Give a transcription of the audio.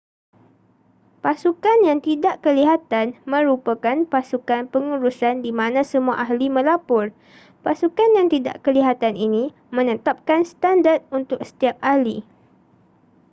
pasukan yang tidak kelihatan merupakan pasukan pengurusan di mana semua ahli melapor pasukan yang tidak kelihatan ini menetapkan standard untuk setiap ahli